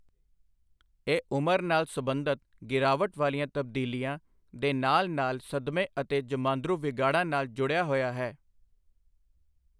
ਇਹ ਉਮਰ ਨਾਲ ਸਬੰਧਤ ਗਿਰਾਵਟ ਵਾਲੀਆਂ ਤਬਦੀਲੀਆਂ ਦੇ ਨਾਲ ਨਾਲ ਸਦਮੇ ਅਤੇ ਜਮਾਂਦਰੂ ਵਿਗਾੜਾਂ ਨਾਲ ਜੁੜਿਆ ਹੋਇਆ ਹੈ।